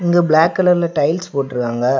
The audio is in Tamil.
இது பிளாக் கலர்ல டைல்ஸ் போட்ருக்காங்க.